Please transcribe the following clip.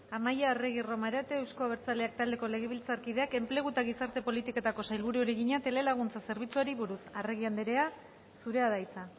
amaia arregi romarate euzko abertzaleak taldeko legebiltzarkideak enplegu eta gizarte politiketako sailburuari egina telelaguntza zerbitzuari buruz arregi andrea zurea da hitza